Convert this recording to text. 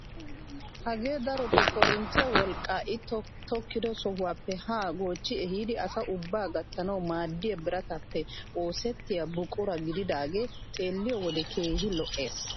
Hagee darotoo korinttiyaa wolqqaa i tokettido sohuwaappe haa goochchi ehiidi asa ubbaa gattanawu maaddiyaa biratappe oosettiyaa buqura gididagee xeelliyoo wode keehi lo"ees!